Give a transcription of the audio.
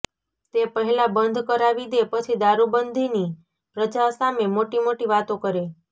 તે પહેલા બંધ કરાવી દે પછી દારૂ બંધીની પ્રજા સામે મોટી મોટી વાતો કરે